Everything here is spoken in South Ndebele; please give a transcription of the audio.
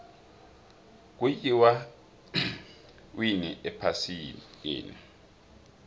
kuyiwa winni ephasikeni